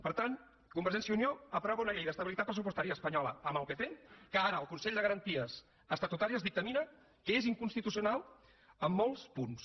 per tant convergència i unió aprova una llei d’estabilitat pressupostària espanyola amb el pp que ara el consell de garanties estatutàries dictamina que és inconstitucional en molts punts